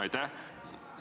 Aitäh!